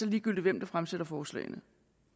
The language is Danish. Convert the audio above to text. ligegyldigt hvem der fremsætter forslagene